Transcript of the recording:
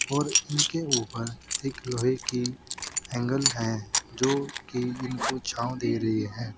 और इनके ऊपर एक लोहे की एंगल है जो कि इनको छांव दे रही है।